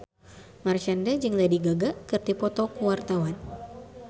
Marshanda jeung Lady Gaga keur dipoto ku wartawan